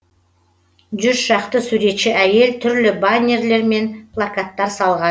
жүз шақты суретші әйел түрлі баннерлер мен плакаттар салған